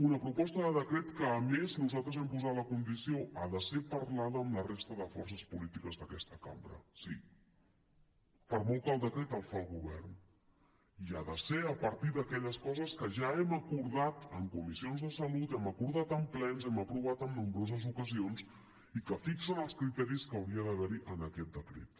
una proposta de decret en què a més nosaltres hem posat la condició ha de ser parlada amb la resta de forces polítiques d’aquesta cambra sí per molt que el decret el faci el govern i ha de ser a partir d’aquelles coses que ja hem acordat en comissions de salut hem acordat en plens hem aprovat en nombroses ocasions i que fixen els criteris que hauria d’haver hi en aquest decret